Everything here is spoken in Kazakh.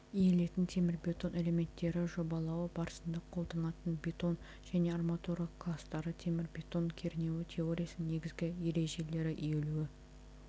иілетін темірбетон элементтері жобалауы барысында қолданылатын бетон және арматура кластары темірбетон кернеуі теориясының негізгі ережелері иілуі